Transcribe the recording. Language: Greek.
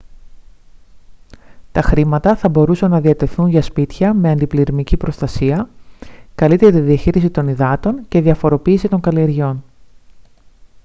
τα χρήματα θα μπορούσαν να διατεθούν για σπίτια με αντιπλημμυρική προστασία καλύτερη διαχείριση των υδάτων και διαφοροποίηση των καλλιεργειών